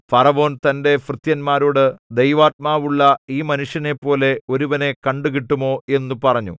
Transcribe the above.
ഫറവോൻ തന്റെ ഭൃത്യന്മാരോട് ദൈവാത്മാവുള്ള ഈ മനുഷ്യനെപ്പോലെ ഒരുവനെ കണ്ടുകിട്ടുമോ എന്നു പറഞ്ഞു